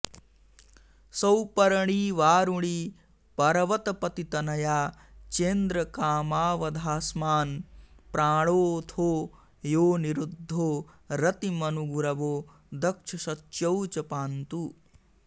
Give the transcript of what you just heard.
सौपर्णी वारुणी पर्वतपतितनया चेन्द्रकामावथास्मान् प्राणोऽथो योऽनिरुद्धो रतिमनुगुरवो दक्षशच्यौ च पान्तु